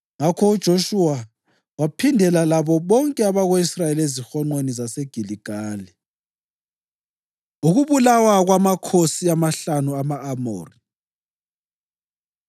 Ngakho uJoshuwa waphindela labo bonke abako-Israyeli ezihonqweni zaseGiligali. Ukubulawa Kwamakhosi Amahlanu Ama-Amori